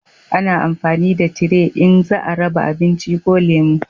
A na amfani da tire in za a raba abinci ko lemo